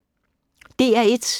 DR1